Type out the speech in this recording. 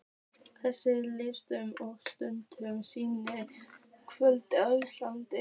Þríeykið tvísteig í þögn stundarkorn, síðan kvöddu Íslendingarnir.